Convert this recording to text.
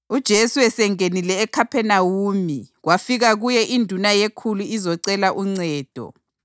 UJesu esengenile eKhaphenawume, kwafika kuye induna yekhulu izocela uncedo.